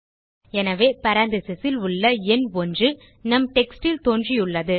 எனவே parenthesesல் உள்ள எண் ஒன்று நம் டெக்ஸ்ட் ல் தோன்றியுள்ளது